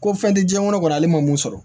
Ko fɛn tɛ diɲɛ kɔnɔ ale ma mun sɔrɔ